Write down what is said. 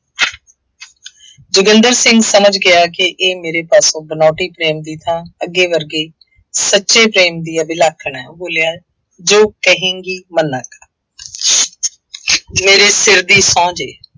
ਜੋਗਿੰਦਰ ਸਿੰਘ ਸਮਝ ਗਿਆ ਕਿ ਇਹ ਮੇਰੇ ਪਾਸੋਂ ਬਨਾਉਟੀ ਪ੍ਰੇਮ ਦੀ ਥਾਂ ਅੱਗੇ ਵਰਗੇ ਸੱਚੇ ਪ੍ਰੇਮ ਦੀ ਅਭਿਲਾਖਣ ਹੈ। ਉਹ ਬੋਲਿਆ ਜੋ ਕਹੇਂਗੀ, ਮੰਨਾਂਗਾ, ਮੇਰੇ ਸਿਰ ਦੀ ਸਹੁੰ ਜੇ,